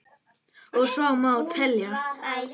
Og svo má telja.